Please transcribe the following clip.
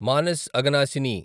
Manas Aghanashini